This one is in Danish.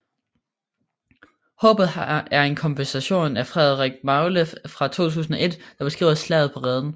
Håbet er en komposition af Frederik Magle fra 2001 der beskriver Slaget på Reden